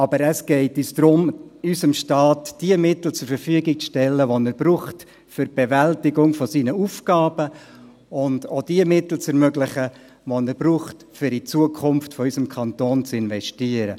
Aber es geht uns darum, dem Staat die Mittel zur Verfügung zu stellen, die er für die Bewältigung seiner Aufgaben braucht, und auch die Mittel zu ermöglichen, welche er braucht, um in die Zukunft unseres Kantons zu investieren.